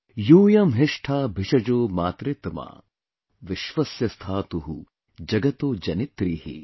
Yooyam Hisatha Bhishjo Matritama Vishwasya Sthatu Jagato Janitri ||